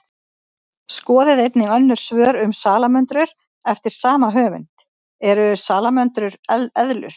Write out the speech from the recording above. Skoðið einnig önnur svör um salamöndrur eftir sama höfund: Eru salamöndrur eðlur?